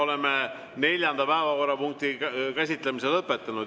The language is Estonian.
Oleme neljanda päevakorrapunkti käsitlemise lõpetanud.